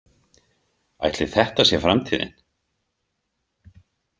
Ætli þetta sé framtíðin?